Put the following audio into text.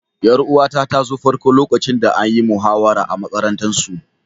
Yar'uwa ta ta zo farko lokacin da an yi muhawara a'makarantan su.